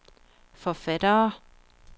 forfattere